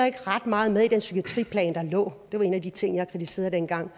ikke ret meget med i den psykiatriplan der lå det var en af de ting jeg kritiserede dengang